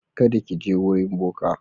Kada ki je wurin boka.